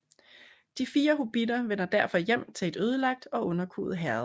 De fire hobbitter vender derfor hjem til et ødelagt og underkuet Herred